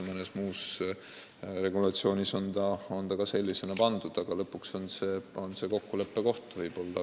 Mõnes muus regulatsioonis on see ka sellisena paika pandud, aga lõpuks on see kokkuleppe koht.